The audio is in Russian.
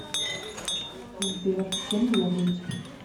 сбер кем мне быть